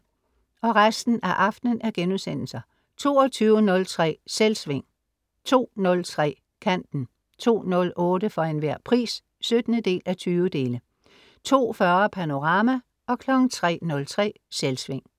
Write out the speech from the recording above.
22.03 Selvsving* 02.03 Kanten* 02.08 For Enhver Pris 17:20* 02.40 Panorama* 03.03 Selvsving*